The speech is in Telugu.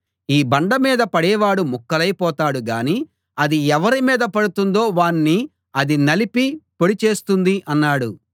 ఈ బండ మీద పడేవాడు ముక్కలై పోతాడు గానీ అది ఎవరి మీద పడుతుందో వాణ్ణి అది నలిపి పొడి చేస్తుంది అన్నాడు